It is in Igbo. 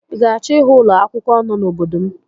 I ga-achọ ịhụ ụlọ akwụkwọ no n'obodo m?